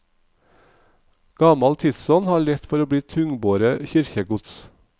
Gamal tidsånd har lett for å bli tungbore kyrkjegods.